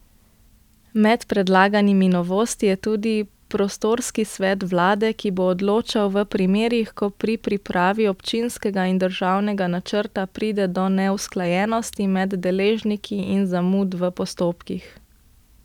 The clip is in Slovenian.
Med predlaganimi novostmi je tudi prostorski svet vlade, ki bo odločal v primerih, ko pri pripravi občinskega in državnega načrta pride do neusklajenosti med deležniki in zamud v postopkih.